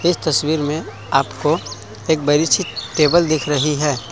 इस तस्वीर में आपको एक बड़ी सी टेबल दिख रही है।